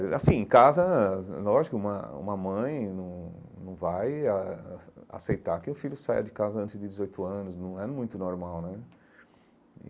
É, assim, em casa, lógico, uma uma mãe não não vai a a aceitar que o filho saia de casa antes de dezoito anos, não é muito normal, né?